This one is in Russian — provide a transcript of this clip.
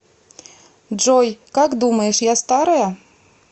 джой как думаешь я старая